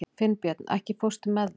Finnbjörn, ekki fórstu með þeim?